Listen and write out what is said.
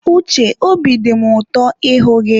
Uche, obi dị mụ ụtọ ịhụ gị.